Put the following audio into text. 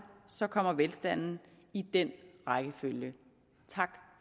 så kommer velstanden i den rækkefølge tak